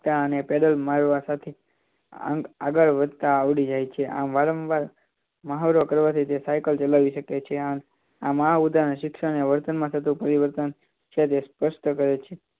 તા અને પેન્ડલ મારવા સાથે આગળ વધતા આવડી જાય છે આમ વારામવાર મહાવરો કરવાથી તે સાઇકલ ચલાવી શકે છે આ મહા ઉદાહરણ શિક્ષણ એ વર્તમાનમાં થતું પરિવર્તન છે તે સ્પષ્ટ કહે છે